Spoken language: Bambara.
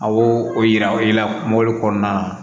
A y'o o yira o la mobili kɔnɔna na